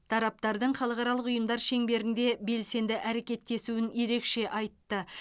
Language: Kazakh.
тараптардың халықаралық ұйымдар шеңберінде белсенді әрекеттесуін ерекше айтты